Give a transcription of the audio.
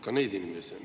Ka neid inimesi on.